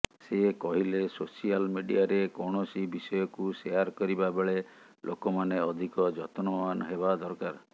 ସେ କହିଲେ ସୋସିଆଲ ମିଡିଆରେ କୌଣସି ବିଷୟକୁ ସେୟାର କରିବା ବେଳେ ଲୋକମାନେ ଅଧିକ ଯତ୍ନବାନ ହେବା ଦରକାର